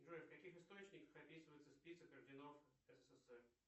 джой в каких источниках описывается список орденов ссср